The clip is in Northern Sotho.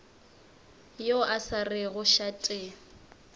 yo a sa rego šate